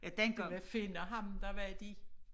De vil finde ham der var de